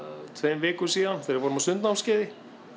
tveimur vikum síðan þegar við vorum á sundnámskeiði